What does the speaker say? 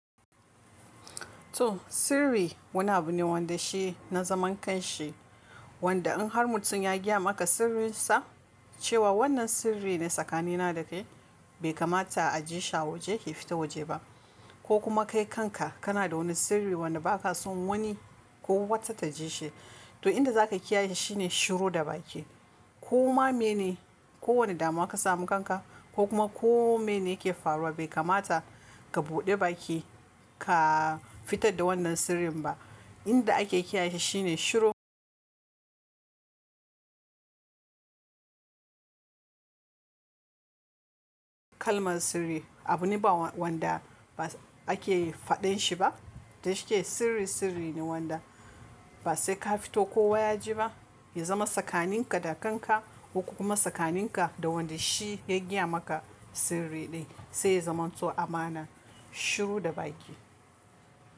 To sirri wani abu ne wanda shi na zaman kan shi. Wanda in har mutum ya gaya maka sirrin sa cewa wannan sirri ne tsakanina da kai bai kamata a jishi a waje ya fita waje ba. Ko kuma kai kanka kana da wani sirri wanda baka son wani ko wata ta ji shi. To inda zaka kiyaye shi ne shiru da baki. Koma mene kowane damuwa ka samu kanka ko kuma kome ne yake faruwa bai kamata ka buɗe baki ka fitar da wannan sirrin ba. Inda ake kiyaye shi ne shiru. Kalman sirri abu ne ba wanda ake faɗen shi ba da yake sirri sirri ne wanda ba sai ka fito kowa yaji ba ya zama tsakaninka da kanka, ko kuma tsakaninka da wanda shi ya gaya maka sirri din sai ya zamanto amana. Shiru da baki.